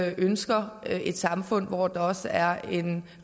ønsker et samfund hvor der også er en